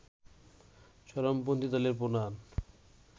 চরমপন্থী দলের প্রধান